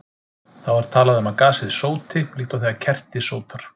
Þá er talað um að gasið sóti, líkt og þegar kerti sótar.